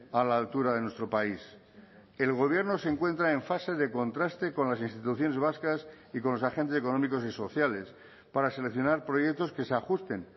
a la altura de nuestro país el gobierno se encuentra en fase de contraste con las instituciones vascas y con los agentes económicos y sociales para seleccionar proyectos que se ajusten